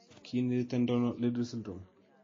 Kiinheritendono Liddle syndrome?